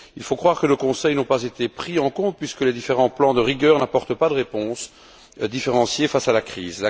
Il faut croire que nos conseils n'ont pas été pris en compte puisque les différents plans de rigueur n'apportent pas de réponse différenciée face à la crise.